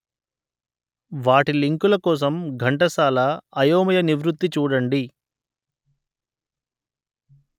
వాటి లింకుల కోసం ఘంటసాల అయోమయ నివృత్తి చూడండి